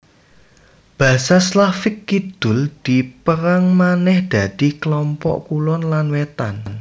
Basa Slavik Kidul dipérang manèh dadi klompok kulon lan wétan